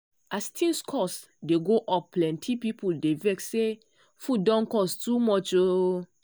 as things cost dey go up plenty people dey vex say food don cost too much. um